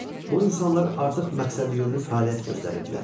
Bu insanlar artıq məqsədyönlü fəaliyyət göstərirdilər.